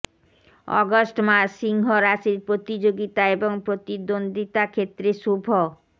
August মাস সিংহ রাশির প্রতিযোগিতা এবং প্রতিদ্বন্দ্বিতা ক্ষেত্রে শুভ